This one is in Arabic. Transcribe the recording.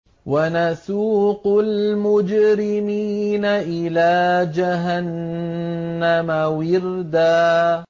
وَنَسُوقُ الْمُجْرِمِينَ إِلَىٰ جَهَنَّمَ وِرْدًا